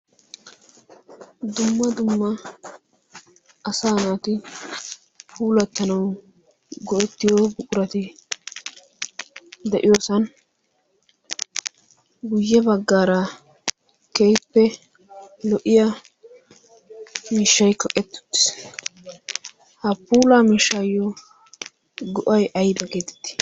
dumma dumma asa naati puulattanawu go'ettiyo qurati de'iyoosan guyye baggaara keeyppe lo'iya mishshayko ettuttiis ha puula mishshaayyo go'ay ayda keetitti